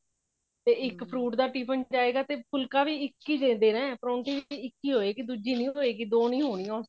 ਤੇ ਇੱਕ fruit ਦਾ tiffin ਜਾਏਗਾ ਤੇ ਫੁਲਕਾ ਵੀ ਇੱਕ ਹੀ ਦੇਣਾ ਪਰੋੰਠੀ ਵੀ ਇੱਕ ਹੀ ਹੋਏਗੀ ਦੁੱਜੀ ਨਹੀਂ ਹੋਏਗੀ ਦੋ ਨਹੀਂ ਹੋਣੀਆਂ ਉਸ ਚ